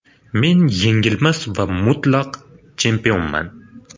Men yengilmas va mutlaq chempionman.